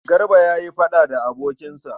Garba ya yi faɗa da abokinsa.